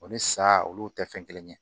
O ni sa olu tɛ fɛn kelen ye